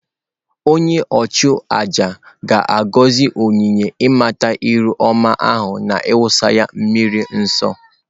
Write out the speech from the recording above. Onye-nchu-àjà āgọzi onyinye-inata-iru-ọma ahu na iwusa ha miri nsọ.